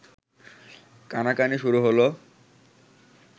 কানাকানি শুরু হল